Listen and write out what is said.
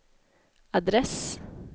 adress